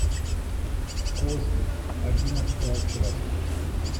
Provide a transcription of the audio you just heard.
кости одиннадцатая часть